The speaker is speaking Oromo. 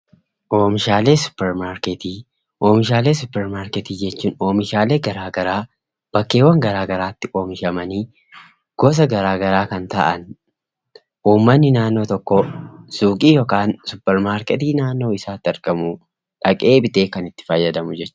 Oomishaalee suuparmaarketii jechuun oomishaalee garaa garaa, bakkeeŵwan garaa garaatti oomishamanii, gosa garaa garaa kan ta'an, uummatni naannoo tokkoo suuqii yookaan suuparmaarketii naannoo isaatti argamu dhaqee bitee kan itti fayyadamu jechuudha.